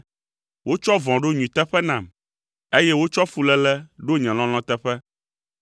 Wotsɔ vɔ̃ ɖo nyui teƒe nam, eye wotsɔ fuléle ɖo nye lɔlɔ̃ teƒe.